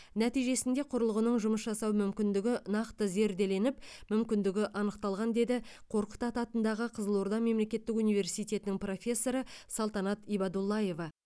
нәтижесінде құрылғының жұмыс жасау мүмкіндігі нақты зерделеніп мүмкіндігі анықталған деді қорқыт ата атындағы қызылорда мемлекеттік университетінің профессоры салтанат ибадуллаева